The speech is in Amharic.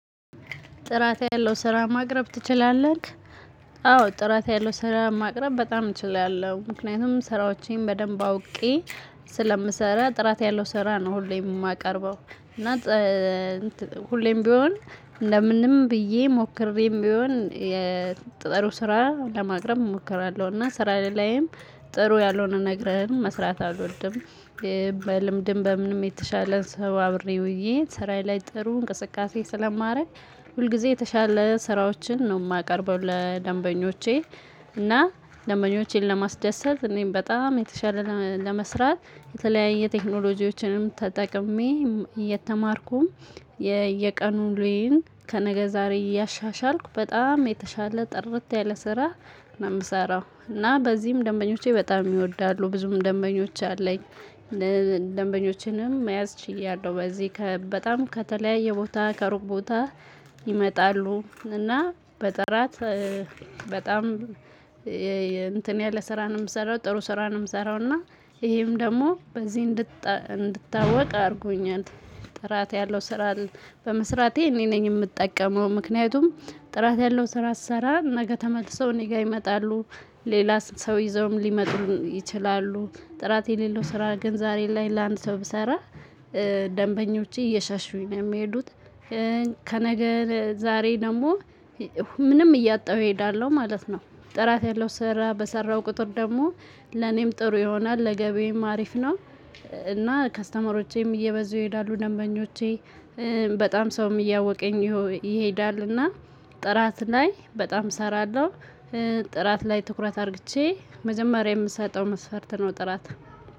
ጥራት ያለው ስራ ማቅረብ ትችላለህ? አዎ ጥራት ያለው ስራ ማቅረብ በጣም እችላለሁ። ምክንያቱም ስራዎቼን በደንብ አውቄ ስለምሰራ ጥራት ያለው ስራ ነው ሁሌም የማቀርበው እና ሁሌም ቢሆን ለምንም ብዬ ሞክሬም ቢሆን ጥሩ ስራ ለማቅረብ እሞክራለሁ እና ስራ ላይም ጥሩ ያልሆነ ነገረም መስራት አልወድም። በልምድም በምንም የተሻለ ሰው አብሬ ውዬ ስራዬ ላይ ጥሩ እንቅስቃሴ ስለማረግ ሁልጊዜ የተሻለ ስራዎችን ነው የማቀርበው ለደንበኞቼ። እና ደንበኞቼን ለማስደሰት እኔም በጣም የተሻለ ለመስራት የተለያየ ቴክኖሎጂዎችንም ተጠቅሜ። የተማርኩም የቀን ዉለዬን ከነገ ዛሬ እያሻሻልኩ በጣም የተሻለ ጥርት ያለ ስራ ነው የምሰራው እና በዚህም ደንበኞቼ በጣም ይወዳሉ ብዙም ደንበኞች አለኝ። ደንበኞችንም መያዝ ችያለሁ በዚህ በጣም ከተለያየ ቦታ ከሩቅ ቦታ ይመጣሉ እና በጥራት በጣም እንትን ያለ ስራ ነው የምሰራው። ጥሩ ስራ ነው የምሰራውና ይሄም ደግሞ በዚህ እንድታወቅ አድርጎኛል። ጥራት ያለው ስራ በመስራቴ እኔ ነኝ የምጠቀመው ምክንያቱም ጥራት ያለው ስራ ስሰራ ነገ ተመልሰው ጋር ይመጣሉ ሌላ ሰው ይዘውም ሊመጡ ይችላሉ። ጥራት የሌለው ስራ ግን ዛሬ ላይ ለአንድ ሰው ብሰራ ደንበኞቼ እየሸሹኝ ነው የሚሄዱት። ከነገ ዛሬ ደግሞ ምንም እያጣሁ እሄዳለሁ ማለት ነው። ጥራት ያለው ስራ በሰራሁ ቁጥር ደግሞ ለኔም ጥሩ ይሆናል ለገበዬም አሪፍ ነው። እና ከስተመሮቼም እየበዙ ይሄዳሉ ደንበኞቼ በጣም ሰውም እያወቀኝ ይሄዳልና ጥራት ላይ በጣም እሰራለሁ። ጥራት ላይ ትኩረት አርግጄ መጀመሪያ የምሰጠው መስፈርት ነው ጥራት።